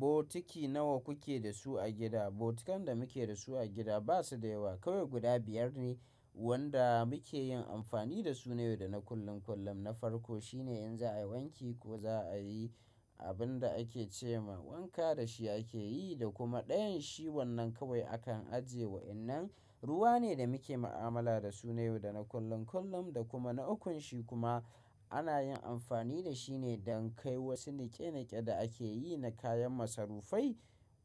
Bokiti nawa kuke da su a gida? Bokitan da muke da su a gida ba su da yawa. Kawai guda biyar ne wanda muke yin amfani da su na yau da na kullum. Na farko shine in za a wanke ko za a yi abin da ake ce ma wanka da shi ake yi da kuma dayan shi wannan kawai akan ajiye wa. Wadannan ruwa ne da muke mu'amala da su na yau da na kullum da kuma na ukun shi kuma ana yin amfani da shi ne don kai wasu niƙe-niƙe da ake yi na kayan masarufai.